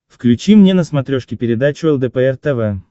включи мне на смотрешке передачу лдпр тв